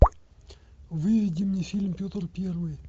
выведи мне фильм петр первый